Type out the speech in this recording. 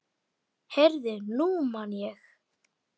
Heyrðu, nú man ég.